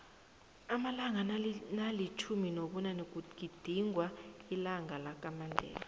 amalanga nakamtjhumi nobunanekugizingwa ilanqalakamandela